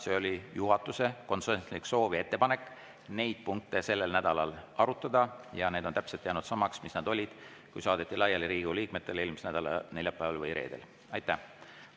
See oli juhatuse konsensuslik soov ja ettepanek neid punkte sellel nädalal arutada ja need on jäänud täpselt samaks, mis nad olid siis, kui eelmise nädala neljapäeval või reedel Riigikogu liikmetele saadeti.